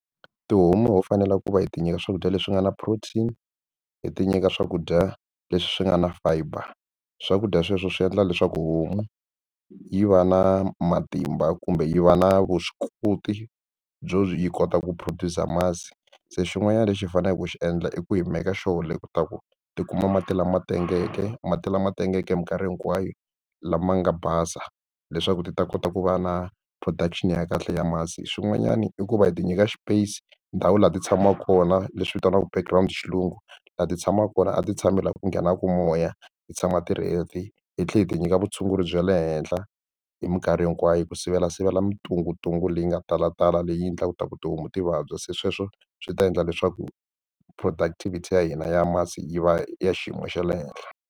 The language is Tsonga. Tihomu ho fanele ku va hi ti nyika swakudya leswi nga na protein hi ti nyika swakudya leswi nga na fiber swakudya sweswo swi endla leswaku homu yi va na matimba kumbe yi va na vuswikoti byo yi kota ku produce a masi se xin'wanyana lexi hi faneleke ku xi endla i ku hi make sure le ta ku ti kuma mati lama tengeke mati lama tengeke hi mikarhi hinkwayo lama nga basa leswaku ti ta kota ku va na production ya kahle ya masi. Swin'wanyana i ku va hi ti nyika space ndhawu laha ti tshamaka kona leswi vitaniwaka background xilungu laha ti tshamaka kona a ti tshami laha ku nghenaku moya ti tshama ti ri healthy hi tlhela hi ti nyika vutshunguri bya le henhla hi mikarhi hinkwayo ku sivelasivela mintunguntungu leyi nga talatala leyi endlaka leswaku tihomu ti vabya se sweswo swi ta endla leswaku productivity ya hina ya masi yi va ya xiyimo xa le henhla.